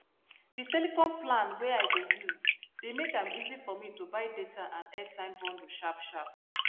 the telecom plan wey i dey use dey make am easy for me to buy data and airtime bundle sharpsharp